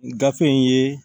Gafe in ye